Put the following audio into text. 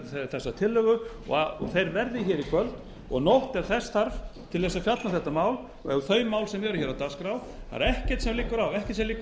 þessa tillögu verði hér í kvöld og nótt ef þess þarf til að fjalla um þetta mál og þau mál sem eru á dagskrá það er ekkert sem liggur